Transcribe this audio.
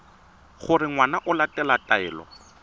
gore ngwana o latela taelo